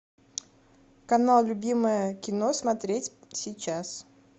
канал любимое кино смотреть сейчас